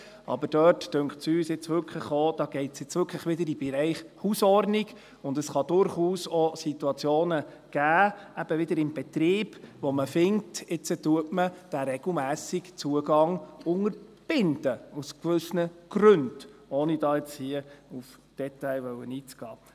Aber dort scheint uns auch – das geht wirklich wieder in den Bereich Hausordnung hinein –, es könne durchaus auch Situationen geben – eben wieder im Betrieb –, wo man aus gewissen Gründen findet, nun unterbinde man diesen regelmässigen Zugang, ohne dabei hier nun auf Details eingehen zu wollen.